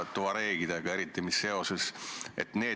Lugupeetud ettekandja, teile küsimusi ei ole.